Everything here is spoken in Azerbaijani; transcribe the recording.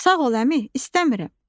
Sağ ol, əmi, istəmirəm.